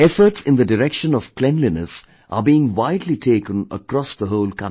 Efforts in the direction of cleanliness are being widely taken across the whole country